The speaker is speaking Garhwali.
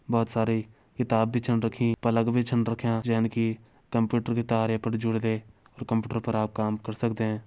बहोत सारी किताब भी छन रखीं प्लग भी छन रख्यां जैन कि कंप्यूटर की तार ये पर जर्दे और कंप्यूटर पर आप काम कर सकदें।